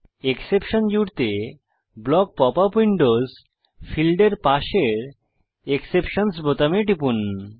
exception জুড়তে block pop up windows ফীল্ডের পাশের এক্সেপশনসহ বোতামে টিপুন